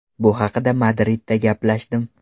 Bu haqda Madridda gaplashdim.